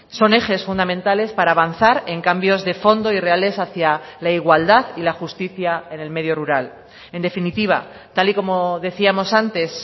son ejes fundamentales para avanzar en cambios de fondo y reales hacia la igualdad y la justicia en el medio rural en definitiva tal y como decíamos antes